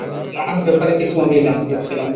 তার ব্যাপারে কিছু আমি জানতে চাচ্ছিলাম।